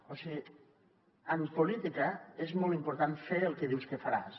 o sigui en política és molt important fer el que dius que faràs